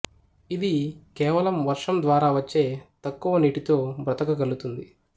ఇది కేవలం వర్షం ద్వారా వచ్చే తక్కువ నీటితో బ్రతకగలుగుతుంది